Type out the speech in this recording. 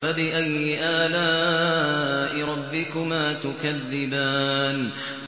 فَبِأَيِّ آلَاءِ رَبِّكُمَا تُكَذِّبَانِ